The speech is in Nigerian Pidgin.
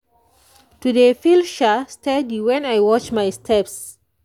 to dey feel [sha] steady when i watch my steps.